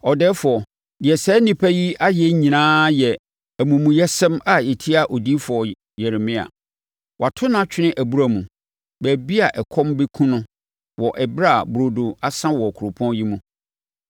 “Ɔdɛɛfoɔ, deɛ saa nnipa yi ayɛ nyinaa yɛ amumuyɛsɛm a ɛtia odiyifoɔ Yeremia. Wɔato no atwene abura mu, baabi a ɛkɔm bɛkum no wɔ ɛberɛ a burodo asa wɔ kuropɔn yi mu.”